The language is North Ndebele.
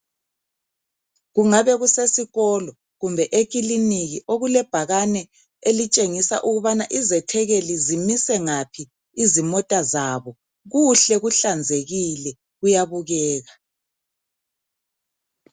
Kungabe kusesikolo kumbe ekiliniki okulebhakane elitshengisa ukubana izethekeli zimise ngaphi izimota zabo, kuhle kuhlanzekile kuyabukeka.